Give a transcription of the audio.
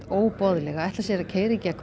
óboðleg að ætla sér að keyra í gegn